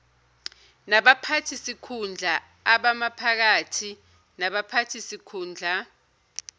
nabaphathisikhundla abamaphakathi nabaphathisikhundla